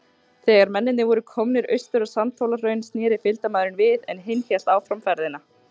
Þegar mennirnir voru komnir austur á Sandhólahraun, sneri fylgdarmaðurinn við, en hinn hélt áfram ferðinni.